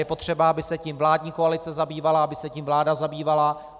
Je potřeba, aby se tím vládní koalice zabývala, aby se tím vláda zabývala.